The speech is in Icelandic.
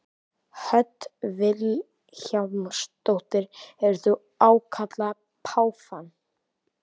Hödd Vilhjálmsdóttir: Hefur þú ákallað páfann?